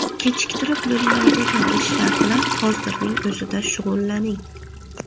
Kechiktirib bo‘lmaydigan ishlar bilan hozirning o‘zida shug‘ullaning.